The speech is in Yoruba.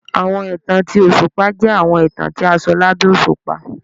Awọn itan ti oṣupa jẹ awọn itan ti a sọ labẹ oṣupa.